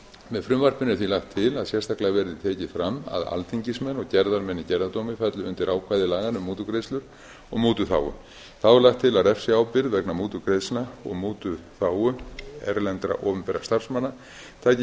með frumvarpinu er því lagt til að sérstaklega verði tekið fram að alþingismenn og gerðarmenn í gerðardómi falli undir ákvæði laganna um mútugreiðslur og mútuþágu þá er lagt til að refsiábyrgð vegna mútugreiðslna og mútuþágu erlendra opinberra starfsmanna taki